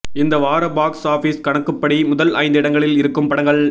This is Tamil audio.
இந்த வார பாக்ஸ் ஆபீஸ் கணக்குப்படி முதல் ஐந்து இடங்களில் இருக்கும் படங்கள்